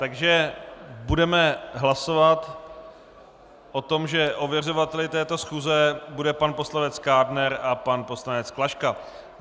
Takže budeme hlasovat o tom, že ověřovateli této schůze budou pan poslanec Kádner a pan poslanec Klaška.